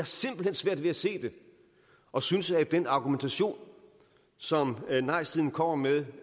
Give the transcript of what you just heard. simpelt hen svært ved at se det og synes ikke at den argumentation som nejsiden kommer med